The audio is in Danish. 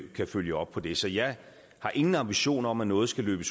kan følge op på det så jeg har ingen ambitioner om at noget skal løbe